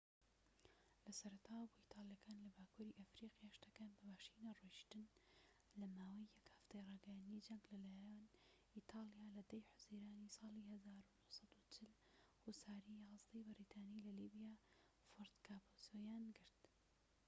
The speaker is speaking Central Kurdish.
لە سەرەتاوە بۆ ئیتالیەکان لە باکووری ئەفریقیا شتەکان بە باشی نەڕۆیژتن لە ماوەی یەک هەفتەی ڕاگەیاندنی جەنگ لە لایەن ئیتالیا لە 10ی حوزەیرانی ساڵی 1940 هوساری 11ی بەریتانی لە لیبیا فۆرت کاپوزۆیان گرت